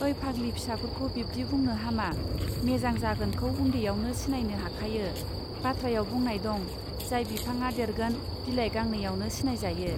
ओइ फाग्लि फिसाफोरखौ बिब्दि बुंनो हामा! मेजां जागोनखौ उन्दैयावनो सिनायनो हाखायो बाथ्रायाव बुंनाय दं जाय बिफाङा देरगोन बिलाय गांनैयावनो सिनाय जायो.